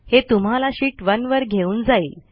हे तुम्हाला शीत 1 वर घेऊन जाईल